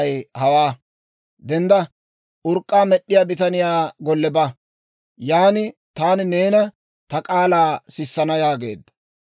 «Dendda; urk'k'aa med'd'iyaa bitaniyaa golle ba. Yaan taani neena ta k'aalaa sissana» yaageedda.